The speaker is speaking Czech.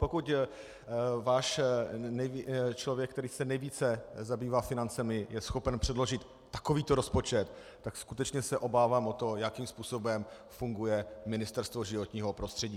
Pokud váš člověk, který se nejvíce zabývá financemi, je schopen předložit takovýto rozpočet, tak skutečně se obávám o to, jakým způsobem funguje Ministerstvo životního prostředí.